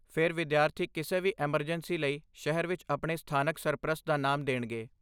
ਫਿਰ, ਵਿਦਿਆਰਥੀ ਕਿਸੇ ਵੀ ਐਮਰਜੈਂਸੀ ਲਈ ਸ਼ਹਿਰ ਵਿੱਚ ਆਪਣੇ ਸਥਾਨਕ ਸਰਪ੍ਰਸਤ ਦਾ ਨਾਮ ਦੇਣਗੇ।